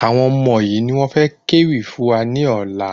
Àwọn ọmọ yìí ni wọ́n fẹ ké wì fún wa ní ọ̀la